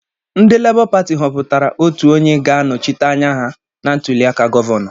Ndị Labour pati họpụtara otu onye ga-anọchite anya ha na ntụliaka gọvanọ.